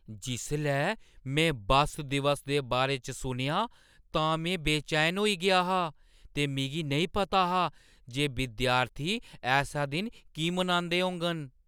जिसलै में बस्स दिवस दे बारे च सुनेआ तां में बेचैन होई गेआ हा ते मिगी नेईं पता हा जे विद्यार्थी ऐसा दिन की मनांदे होङन।